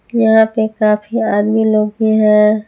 यहां पे काफी आदमी लोग भी हैं।